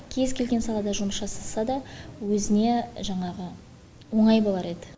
кез келген салада жұмыс жасаса да өзіне жаңағы оңай болар еді